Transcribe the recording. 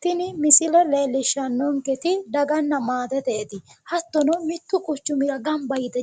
Tini misile leellishannonketi daganna maateteeti. Hattono mittu quchumira gamba yite